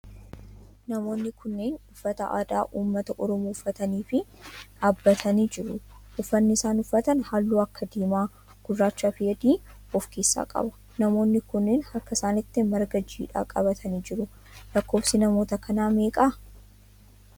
Namoonni kunneen uffata aadaa ummata oromoo uffatanii dhaabbatanii jiru. Uffanni isaan uffatan halluu akka diimaa, gurraachaa fi adii of keessaa qaba. namoonni kunneen harka isaanitti marga jiidhaa qabatanii jiru. Lakkoofsi namoota kanaa meeqadha?